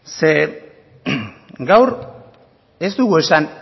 zeren gaur ez dugu esan